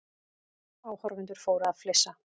Áhorfendur fóru að flissa.